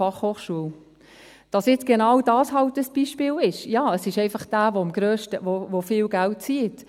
Dass nun halt genau dies ein Beispiel ist, ist so, weil es einfach das ist, was viel Geld bindet.